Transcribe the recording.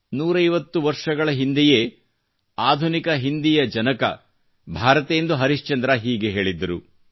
ನೂರೈವತ್ತು ವರ್ಷಗಳ ಹಿಂದೆಯೇ ಆಧುನಿಕ ಹಿಂದಿಯ ಜನಕ ಭಾತತೆಂದು ಹರಿಶ್ಚಂದ್ರ ಹೀಗೆ ಹೇಳಿದ್ದರು